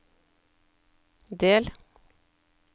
del